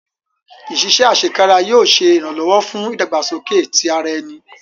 Iṣiṣẹ asekara yóò ṣe iranlọwọ fun idagbasoke ti ara ẹni